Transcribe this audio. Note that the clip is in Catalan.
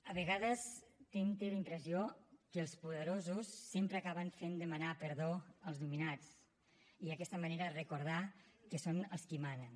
a vegades tinc la impressió que els poderosos sempre acaben fent demanar perdó als dominats i d’aquesta manera recordar que són els qui manen